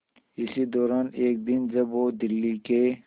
इसी दौरान एक दिन जब वो दिल्ली के